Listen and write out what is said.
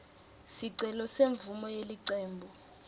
sicelo semvumo yelicembu